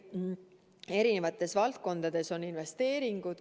Eri valdkondades on investeeringud.